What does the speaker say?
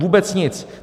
Vůbec nic!